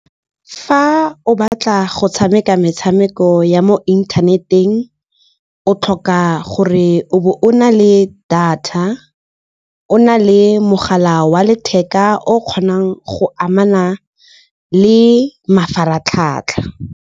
Fa o batla go tshameka metshameko ya mo inthaneteng, o tlhoka gore o bo o na le data, o na le mogala wa letheka o kgonang go amana le mafaratlhatlha.